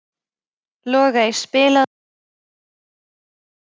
Logey, spilaðu lagið „Fjólublátt flauel“.